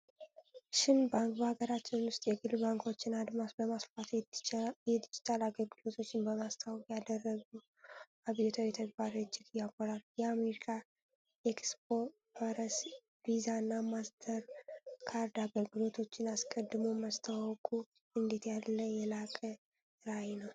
ሸን ባንክ በሀገራችን ውስጥ የግል ባንኮችን አድማስ በማስፋት የዲጂታል አገልግሎቶችን በማስተዋወቅ ያደረገው አብዮታዊ ተግባር እጅግ ያኮራል! የአሜሪካን ኤክስፕረስ፣ ቪዛና ማስተርካርድ አገልግሎቶችን አስቀድሞ ማስተዋወቁ እንዴት ያለ የላቀ ራዕይ ነው!